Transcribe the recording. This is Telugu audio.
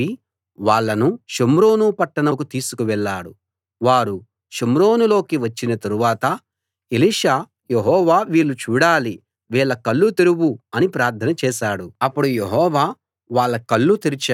వారు షోమ్రోనులోకి వచ్చిన తరువాత ఎలీషా యెహోవా వీళ్ళు చూడాలి వీళ్ళ కళ్ళు తెరువు అని ప్రార్థన చేశాడు అప్పుడు యెహోవా వాళ్ళ కళ్ళు తెరిచాడు తాము షోమ్రోనులో ఉన్నామని వాళ్లకర్థమైంది